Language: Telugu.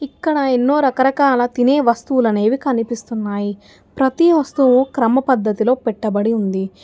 ఇక్కడ ఎన్నో రకరకాల తినే వస్తువులనేవి కనిపిస్తున్నాయి ప్రతి వస్తువు క్రమ పద్ధతిలో పెట్టబడి ఉంది.